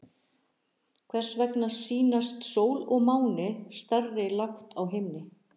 Hvers vegna sýnast sól og máni stærri lágt á himni?